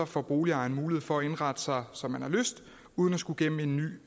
får boligejeren mulighed for at indrette sig som man har lyst uden at skulle igennem en ny